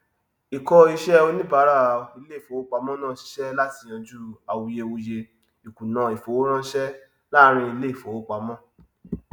ìkọ iṣẹ oníbárà iléìfowópamọ náà sisẹ láti yanjú awuyewuye ìkùnà ìfowóránsẹ láàrín iléìfowópamọ